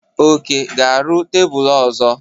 Oke ga-arụ tebụl ọzọ.